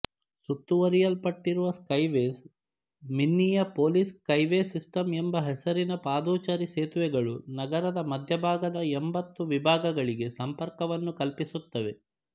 ಸುತ್ತುವರೆಯಲ್ಪಟ್ಟಿರುವ skyways Minneapolis skyway system ಎಂಬ ಹೆಸರಿನ ಪಾದಚಾರಿ ಸೇತುವೆಗಳು ನಗರದ ಮಧ್ಯಭಾಗದ ಎಂಬತ್ತು ವಿಭಾಗಗಳಿಗೆ ಸಂಪರ್ಕವನ್ನು ಕಲ್ಪಿಸುತ್ತವೆ